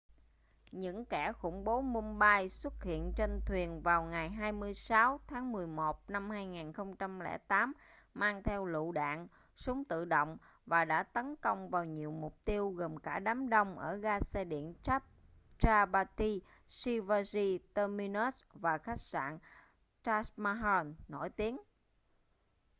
những kẻ khủng bố mumbai xuất hiện trên thuyền vào ngày 26 tháng 11 năm 2008 mang theo lựu đạn súng tự động và đã tấn công vào nhiều mục tiêu gồm cả đám đông ở ga xe điện chhatrapati shivaji terminus và khách sạn taj mahal nổi tiếng